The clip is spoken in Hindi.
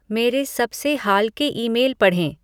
मेरे सबसे हाल के ईमेल पढ़ें